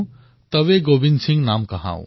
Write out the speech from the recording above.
তবে গোৱিন্দ সিং নাম কহাও